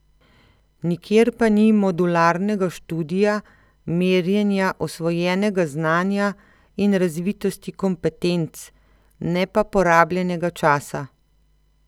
Nikjer pa ni modularnega študija, merjenja osvojenega znanja in razvitosti kompetenc, ne pa porabljenega časa.